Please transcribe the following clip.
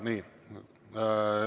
Nii.